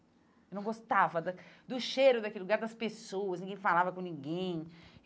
Eu não gostava da do cheiro daquele lugar, das pessoas, ninguém falava com ninguém.